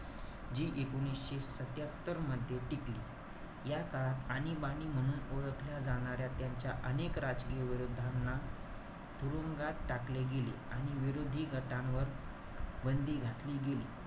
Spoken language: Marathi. जी एकोणीशे सत्यात्तर मध्ये, टिकली. या काळात आणीबाणी म्हणून ओळखल्या जाणाऱ्या त्यांच्या अनेक राजकीय विरोधांना तुरुंगात टाकले गेले. आणि विरोधी गटांवर बंदी घातली गेली.